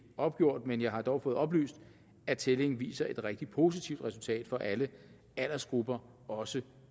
opgjort men jeg har dog fået oplyst at tællingen viser et rigtig positivt resultat for alle aldersgrupper også